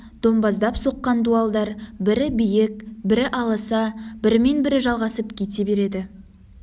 домбаздап соққан дуалдар бірі биік бірі аласа бірімен бірі жалғасып кете береді